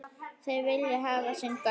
Þeir vilja hafa sinn gaur.